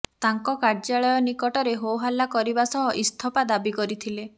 ତାଙ୍କ କାର୍ଯ୍ୟାଳୟ ନିକଟରେ ହୋହାଲ୍ଲା କରିବା ସହ ଇସ୍ତଫା ଦାବି କରିଥିଲେ